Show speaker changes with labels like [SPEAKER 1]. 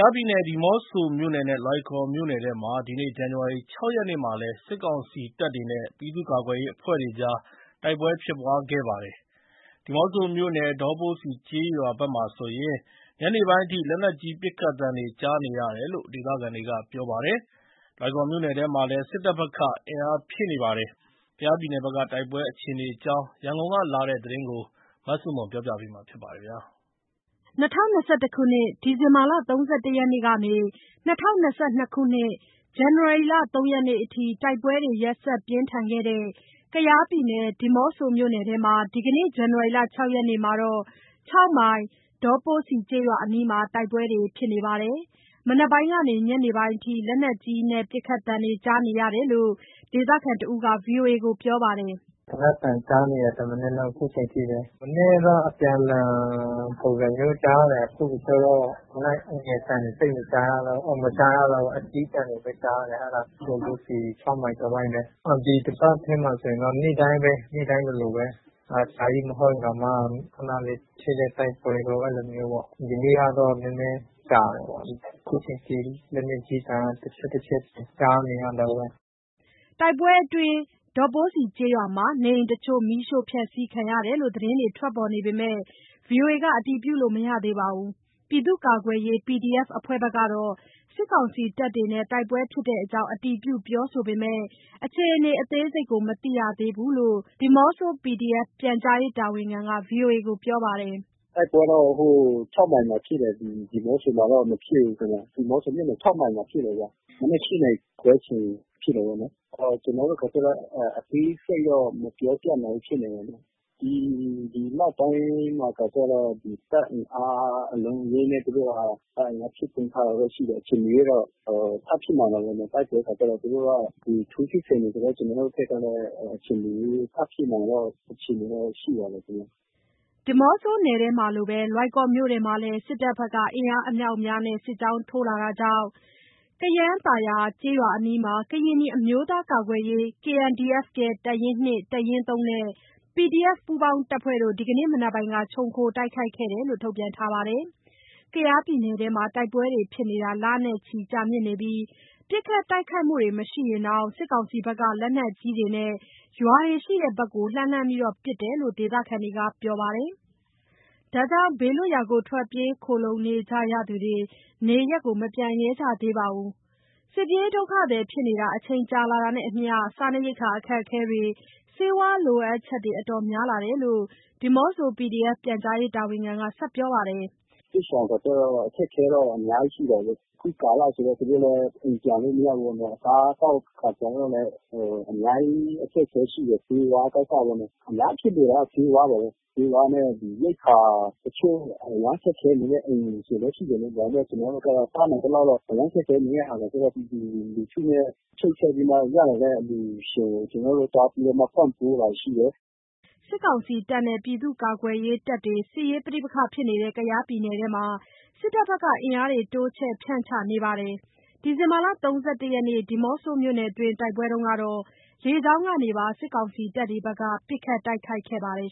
[SPEAKER 1] ားပြည်နယ် ဒီးမော့ဆိုမြို့နယ်နဲ့ လွိုင်ကော်မြို့နယ်ထဲမှာ ဒီနေ့ ဇန်နဝါရီလ ၆ ရက်မှာလည်း စစ်ကောင်စီ တပ်နဲ့ပြည်သူ့ကာကွယ်ရေးအဖွဲ့တွေကြား တိုက်ပွဲတွေ ဖြစ်ခဲ့ပါတယ်။ ဒီးမော့ဆိုမြို့နယ်၊ ဒေါပိုးစီကျေးရွာဘက်မှာဆိုရင် ညနေပိုင်းအထိ လက်နက်ကြီးပစ်ခတ်သံတွေ ကြားနေရတယ်လို့ ဒေသခံတွေက ပြောပါ တယ်။ လွိုင်ကော်မြို့နယ်ထဲမှာလည်း စစ်တပ်ဘက်က အင်အားဖြည့်နေပါတယ်။ ကယားပြည်နယ်ဘက်က တိုက်ပွဲအခြေအနေအကြောင်း ရန်ကုန်ကလာတဲ့သတင်းကို မဆုမွန်က တင်ပြပေးထားပါတယ်။
[SPEAKER 2] ၂၀၂၁ ခုနှစ်၊ ဒီဇင်ဘာလ ၃၁ ရက်နေ့ကနေ ၂၀၂၂ ဇန်နဝါရီလ ၃ ရက်နေ့အထိ တိုက်ပွဲတွေ ရက်ဆက် ပြင်းထန်ခဲ့တဲ့ ကယားပြည်နယ်၊ ဒီးမော့ဆိုမြို့နယ်ထဲမှာ ဒီနေ့ ဇန်နဝါရီ ၆ ရက်မှာတော့ ၆ မိုင်၊ ဒေါပိုးစီ ကျေးရွာအနီးမှာ တိုက်ပွဲတွေဖြစ်နေပါတယ်။ မနက်ပိုင်းကနေ ညနေပိုင်းအထိ လက်နက်ကြီးပစ်ခတ်သံတွေ ကြားနေရတာလို့ ဒေသခံတယောက်က ဗွီအိုအေကို ပြောပါတယ်။
[SPEAKER 1] “သေနတ်သံ ကြားနေရတယ်။ တမနက်လုံး အခုချိန်ထိပဲ။ မနက်က အပြန်အလှန် ပုံစံမျိုးကြားတယ်။ အခု ကျတော့ လက်နက်ငယ်အသံတွေ မကြားရတော့ဘူး။ လက်နက်ကြီးအသံတွေပဲ ကြားရတာ၊ အဲ့ဒါ ဒေါပိုးစီ၊ ၆ မိုင်တဝိုက်ပဲ။ ဒီတပတ်ထဲမှာဆိုရင်တော့ ဒီနေ့တိုင်းလိုလိုပဲ အကြာကြီးမဟုတ်ရင်တောင်မှ ခဏလေး ဖြစ်တဲ့ တိုက်ပွဲပေါ့ အဲ့လိုမျိုးပေါ့။ ဒီနေ့ကတော့ နည်းနည်းကြာတယ်ပေါ့။ အခုချိန်ထိ လက်နက်ကြီးသံ တချက်တချက်ကြားနေရတုန်းပဲ။
[SPEAKER 2] ” တိုက်ပွဲအတွင်း ဒေါပိုးစီကျေးရွာမှာ နေအိမ်တချို့ မီးရှို့ဖျက်စီးခံရတယ်လို့ သတင်းတွေ ထွက်ပေါ်နေပေမယ့် ဗွီအိုအေက အတည်ပြုလို့မရသေးပါဘူး။ ပြည်သူ့ကာကွယ်ရေး PDF အဖွဲ့ဘက်ကတော့ စစ်ကောင်စီတပ်တွေနဲ့ တိုက်ပွဲဖြစ် တဲ့အကြောင်း အတည်ပြုပြောဆိုပေမယ့် အခြေအနေ အသေးစိတ် မသိရသေးဘူးလို့ ဒီးမော့ဆို PDF ပြန်ကြားရေးတာဝန်ခံက ဗွီအိုအေကိုပြောပါတယ်
[SPEAKER 3] ။ “တိုက်ပွဲတော့ ၆ မိုင်မှာဖြစ်တာ၊ ဒီးမော့ဆိုမှာတော့ မဖြစ်ဘူးခင်ဗျ။ ဒီးမော့ဆိုမြို့ နယ် ၆ မိုင်မှာဖြစ်တာ ဗျ။ မနက် ၈ နာရီခွဲချိန် ဖြစ်တာပေါ့နော်။ ကျနော်တို့ အသေးစိတ်တော့ မပြောပြနိုင်ဘူးဖြစ်နေတယ်။ ဒီနောက်ပိုင်းမှာကျတော့ တပ်အင်အားအလုံးအရင်းနဲ့ သူတို့က တပ်အင်အားဖြည့်တင်းထားတာတော့ ရှိတယ်။ အချိန်မရွေးတော့ ထပ်ဖြစ်နိုင်တာပေါ့နော် တိုက်ပွဲက၊ သူတို့က ထိုးစစ်ဆင်နေတယ်။ ကျနော်တို့ ဘက်ကလည်း အချိန်မရွေး ထပ်ဖြစ်နိုင်တဲ့အခြေအနေတော့ ရှိတာပေါ့ခင်ဗျ။
[SPEAKER 2] ” ဒီးမော့ဆိုနယ်ထဲမှာလိုပဲ လွိုင်ကော်မြို့နယ်ထဲမှာလည်း စစ်တပ်ဘက်က အင်အားအမြောက်အများနဲ့ စစ်ကြောင်းထိုးလာတာကြောင့် ကယန်းသာယာကျေးရွာအနီးမှာ ကရင်နီအမျိုးသားများ ကာကွယ်ရေး KNDF ရဲ့ တပ်ရင်း (၂)၊ တပ်ရင်း (၃) နဲ့ PDF ပူးပေါင်းတပ်ဖွဲ့တို့ ဒီနေ့မနက်ပိုင်းက ခြုံခိုတိုက်ခိုက်ခဲ့တယ်လို့ ထုတ်ပြန်ထားပါတယ်။ ကယားပြည်နယ်ထဲမှာ တိုက်ပွဲတွေဖြစ်နေတာ လနဲ့ချီကြာမြင့်နေပြီး ပစ်ခတ်တိုက် ခိုက်မှုတွေ မရှိရင်တောင် စစ်ကောင်စီဘက်က လက်နက်ကြီးတွေနဲ့ ရွာတွေရှိရာဘက် လှမ်းလှမ်းပစ်တယ်လို့ ဒေသခံတွေက ပြောပါ တယ်။ ဒါကြောင့် ဘေးလွတ်ရာထွက်ပြေးခိုလှုံနေကြရသူတွေ နေရပ်မပြန်ရဲကြသေးပါဘူး။ စစ်ပြေးဒုက္ခသည်ဖြစ်နေတာ အချိန်ကြာလာတာနဲ့အမျှ စားနပ်ရိက္ခာအခက်အခဲတွေ၊ ဆေးဝါးလိုအပ်ချက်တွေ အတော်များလာတယ်လို့ ဒီးမော့ဆို PDF ပြန်ကြားရေးတာဝန်ခံက ဆက်ပြောပါတယ်။
[SPEAKER 3] “စစ်ရှောင်ခါကျတော့ အခက်အခဲတော့ အများကြီးရှိတယ်။ အခုကာလဆိုတော့ သူတို့လည်း အိမ်ပြန်လို့ မရဘူးပေါ့နော်။ အစားသောက်လည်း အများကြီး အခက် အခဲရှိတယ်။ ဆေးဝါးကစပေါ့နော်။ အများကြီးခက်ခဲက ဆေးဝါးပါပဲ။ ဆေးဝါးနဲ့ ရိက္ခာတချို့ အရမ်းခက်ခဲနေတဲ့ အိမ်တွေလည်း ရှိတယ်လေ၊ ဒါပေမယ့် ကျနော်တို့က တတ်နိုင်သလောက်တော့ အရမ်းခက်ခဲနေတဲ့ဟာကို ပြည်သူလူထုနဲ့ ချိတ် ဆက်ပြီးမှ ရလာတဲ့ အလှူရှင်ဆီက ကျနော်တို့ သွားပြီးမှ ပံ့ပိုးတာရှိတယ်။
[SPEAKER 2] ” စစ်ကောင်စီတပ်တွေနဲ့ ပြည်သူ့ကာကွယ်ရေးတပ်တွေ စစ်ရေးပဋိပက္ခဖြစ်နေတဲ့ ကယားပြည်နယ်ထဲမှာ စစ်တပ်ဘက်က အင်အားတွေ တိုးချဲ့ ဖြန့်ချနေပါတယ်။ ဒီဇင်ဘာလ ၃၁ ရက်နေ့ ဒီးမော့ဆိုမြို့နယ်တွင်း တိုက်ပွဲတုန်းကတော့ လေကြောင်းကနေပါ စစ်ကောင်စီတပ်တွေဘက်က ပစ်ခတ်တိုက်ခိုက်ခဲ့ပါတယ်